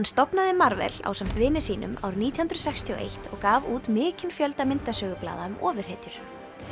stofnaði ásamt vini sínum árið nítján hundruð sextíu og eitt og gaf út mikinn fjölda myndasögublaða um ofurhetjur